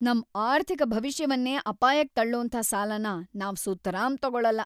ನಮ್ ಆರ್ಥಿಕ ಭವಿಷ್ಯವನ್ನೇ ಅಪಾಯಕ್ ತಳ್ಳೋಂಥ ಸಾಲನ ನಾವ್ ಸುತರಾಂ ತಗೊಳಲ್ಲ!